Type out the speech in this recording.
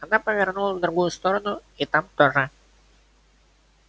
она повернула в другую сторону и там тоже